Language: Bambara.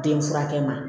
Den furakɛ